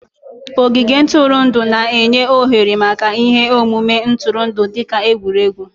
Ogige ntụrụndụ na-enye ohere maka ihe omume ntụrụndụ dị ka egwuregwu